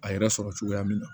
A yɛrɛ sɔrɔ cogoya min na